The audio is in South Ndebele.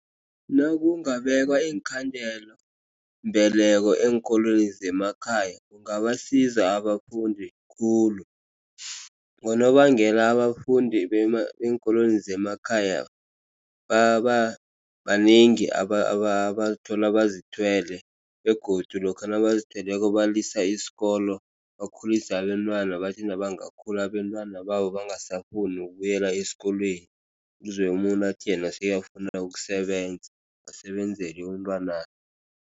Nakungabekwa iinkhandela mbeleko eenkolweni zemakhaya, kungabasiza abafundi khulu. Ngonobangela abafundi beenkolweni zemakhaya banengi bazithola bazithwele, begodu lokha nabazithweleko balisa isikolo bakhulise abentwana. Bathi nabangakhula abentwana babo. Bangasafuni ukubuyela esikolweni, uzwe umuntu athi yena sekafuna ukusebenza usebenzela umntwanakhe.